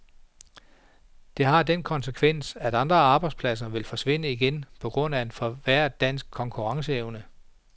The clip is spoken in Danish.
Det har den konsekvens at andre arbejdspladser vil forsvinde igen på grund af en forværret dansk konkurrenceevne.